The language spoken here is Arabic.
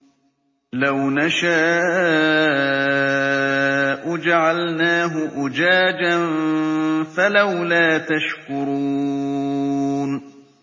لَوْ نَشَاءُ جَعَلْنَاهُ أُجَاجًا فَلَوْلَا تَشْكُرُونَ